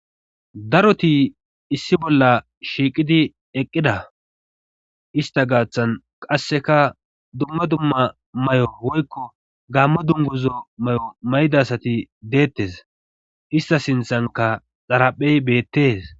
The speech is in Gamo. Daroti issi bolla shiiqidi eqqida ista gaaththan qasseka dumma dumma may'o woykko gammo dunguzo may'o may'idasati deettes ista sinthanka xaraphey beettes